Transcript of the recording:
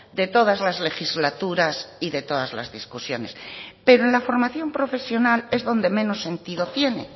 de todas las legislaturas y de todas las discusiones pero en la formación profesional es donde menos sentido tiene